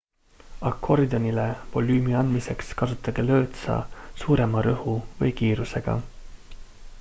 akordionile volüümi andmiseks kasutage lõõtsa suurema rõhu või kiirusega